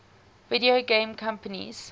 video game companies